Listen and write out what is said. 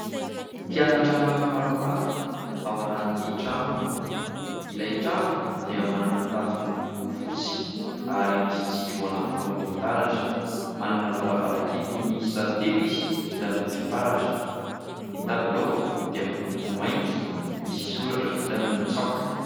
Mpianatra maromaro ao anaty trano, ilay trano dia manana tafo miloko fotsy ary misy jiro anankiroa mitaratra, manana varavarankely miisa telo izy vita amin'ny fitaratra. Ny tabilao dia miloko mainty misy soratra vita amin'ny tsaoka.